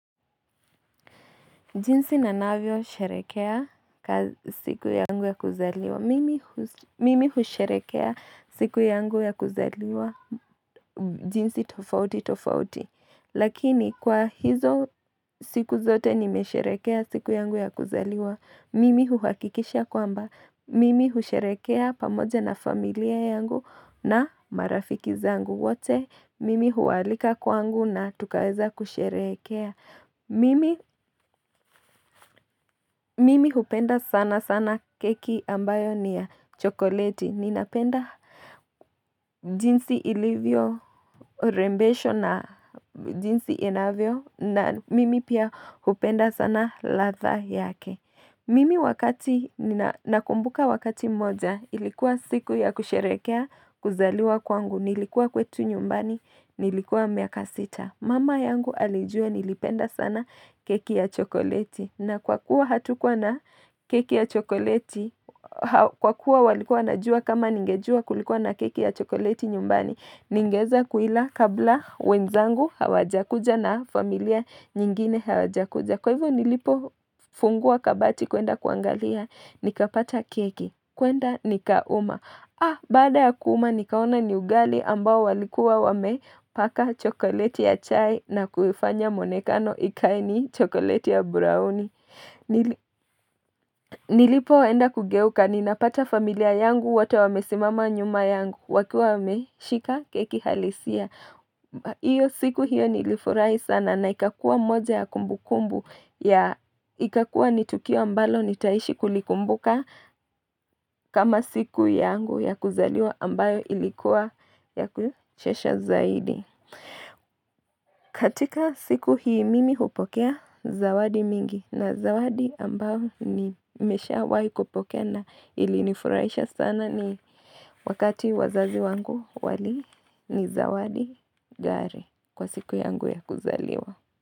Jinsi na navio sherekea siku yangu ya kuzaliwa. Mimi husherekea siku yangu ya kuzaliwa. Jinsi tofauti tofauti. Lakini kwa hizo siku zote nimesherekea siku yangu ya kuzaliwa. Mimi huhakikisha kwamba. Mimi husherekea pamoja na familia yangu na marafiki zangu wote. Mimi hualika kwangu na tukaweza kusherekea. Mimi hupenda sana sana keki ambayo ni ya chokoladi. Ninapenda jinsi ilivyo rembesho na jinsi inavyo na mimi pia hupenda sana latha yake. Mimi wakati nina kumbuka wakati moja ilikuwa siku ya kusherekea kuzaliwa kwangu. Nilikuwa kwetu nyumbani, nilikuwa miaka sita. Mama yangu alijua nilipenda sana keki ya chokoleti na kwa kuwa hatukuwa na keki ya chokoleti kwa kuwa walikuwa na jua kama ningejua kulikuwa na keki ya chokoleti nyumbani ningeweza kuila kabla wenzangu hawajakuja na familia nyingine hawajakuja Kwa hivyo nilipo funguwa kabati kuenda kuangalia, nikapata keki, kuenda nikauma. Ah, bada ya kuuma nikaona ni ugali ambao walikuwa wame paka chokolete ya chai na kufanya monekano ikaini chokolete ya brownie. Nilipo wenda kugeuka, ninapata familia yangu, wata wamesimama nyuma yangu, wakua wameshika keki halisia. Iyo siku hiyo nilifurai sana na ikakua moja ya kumbu kumbu ya ikakua nitukiwa mbalo nitaishi kulikumbuka kama siku yangu ya kuzaliwa ambayo ilikuwa ya kuchesha zaidi katika siku hii mimi hupokea zawadi mingi na zawadi ambao ni misha wai kupokea na ilinifuraisha sana ni wakati wazazi wangu wali ni zawadi gari kwa siku yangu ya kuzaliwa.